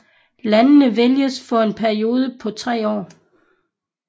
Landene vælges for en periode på tre år